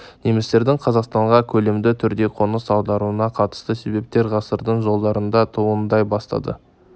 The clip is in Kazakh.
немістердің қазақстанға көлемді түрде қоныс аударуына қатысты себептер ғасырдың жылдарында туындай бастады